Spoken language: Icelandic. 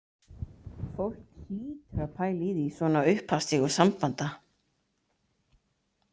Fólk hlýtur að pæla í því svona á upphafsstigum sambanda